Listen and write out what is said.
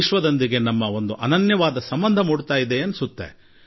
ವಿಶ್ವದೊಡನೆ ನಮ್ಮ ಒಂದು ಅದ್ಭುತ ಸಂಬಂಧ ಬೆಳೆಯುತ್ತಿದೆ